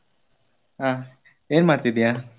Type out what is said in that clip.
ಆ ಏನ್ ಮಾಡ್ತಿದೀಯ?